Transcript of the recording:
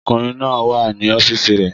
Ọkùnrin náà wà ní ọ́fíìsì rẹ̀